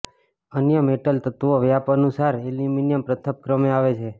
અન્ય મેટલ તત્વો વ્યાપ અનુસાર એલ્યુમિનિયમ પ્રથમ ક્રમે આવે છે